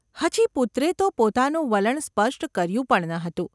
હજી પુત્રે તો પોતાનું વલણ સ્પષ્ટ કર્યું પણ ન હતું.